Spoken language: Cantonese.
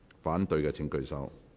反對的請舉手。